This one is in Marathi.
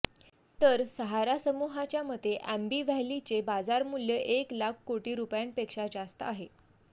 तर सहारा समुहाच्या मते अॅम्बी व्हॅलीचे बाजारमूल्य एक लाख कोटी रुपयांपेक्षा जास्त आहे